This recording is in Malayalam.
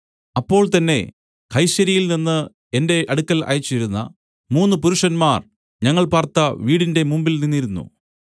അപ്പോൾ തന്നേ കൈസര്യയിൽനിന്ന് എന്റെ അടുക്കൽ അയച്ചിരുന്ന മൂന്നു പുരുഷന്മാർ ഞങ്ങൾ പാർത്ത വീടിന്റെ മുമ്പിൽ നിന്നിരുന്നു